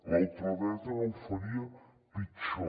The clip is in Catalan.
la ultradreta no ho faria pitjor